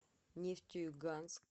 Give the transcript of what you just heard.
нефтеюганск